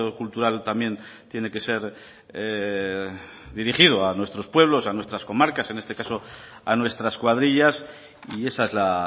cultural también tiene que ser dirigido a nuestros pueblos a nuestras comarcas en este caso a nuestras cuadrillas y esa es la